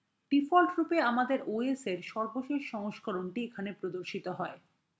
ডিফল্টরূপে আমাদের os এর সর্বশেষ সংস্করণটি এখানে প্রদর্শিত হবে